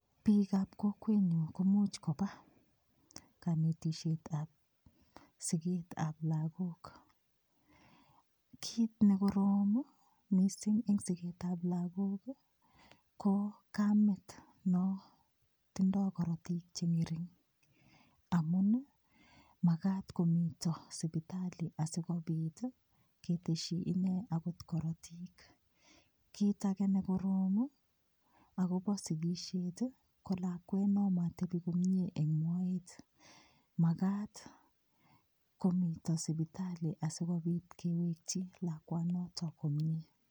Biikab kokwenyu komuuch koba kanetishetab siketab lagok kiit nekorom mising' eng' siketab lagok ko kamet no tindoi korotik cheng'ering amun makat komito sipitali asikobit keteshi ine akot korotik kiit age nekorom akobo sikishet ko lakwet no matebi komye eng' moet makat komito sipitali asikobit kewekchi lakwanoto komye